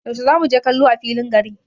Yaushe zamu je kallo a filin gari?